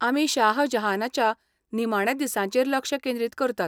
आमी शाहजहानाच्या निमाण्या दिसांचेर लक्ष केंद्रीत करतात.